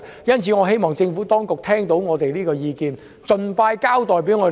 因此，我希望政府當局聆聽我們的意見，盡快向我們作出交代。